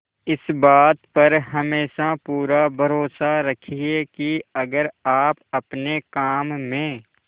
इस बात पर हमेशा पूरा भरोसा रखिये की अगर आप अपने काम में